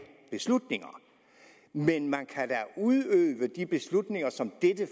beslutninger men man kan da udøve de beslutninger som dette